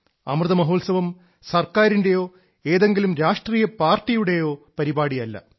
അമൃത മഹോത്സവം സർക്കാരിന്റെയോ ഏതെങ്കിലും രാഷ്ട്രീയ പാർട്ടിയുടെ പരിപാടിയല്ല